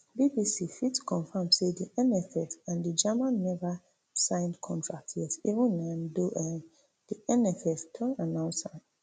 bbc fit confam say di nff and di german neva sign contract yet even um though um di nff don announce am